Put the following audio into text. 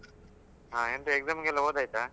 ಹ ಎಂತ exam ಗೆಲ್ಲ ಓದಾಯ್ತಾ?